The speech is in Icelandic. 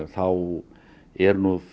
þá eru